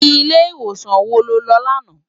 Ilé iwósan wó ló lò làná?